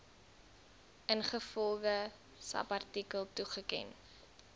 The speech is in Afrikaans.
ingevolge subartikel toegeken